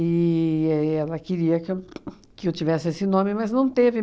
e ela queria que eu que eu tivesse esse nome, mas não teve.